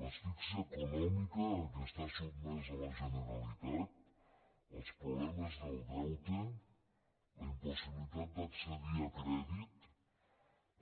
l’asfíxia econòmica a què està sotmesa la generalitat els problemes del deute la impossibilitat d’accedir a crèdit